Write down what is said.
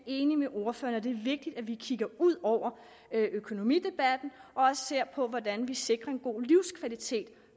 enig med ordføreren det er vigtigt at vi kigger ud over økonomidebatten og også ser på hvordan vi sikrer en god livskvalitet